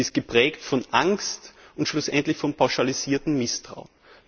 Sie ist geprägt von Angst und schlussendlich von pauschalisiertem Misstrauen.